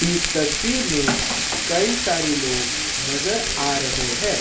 इस तस्वीर में कई सारे लोग नजर आ रहे हैं।